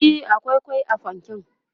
e akwai kwai a fanken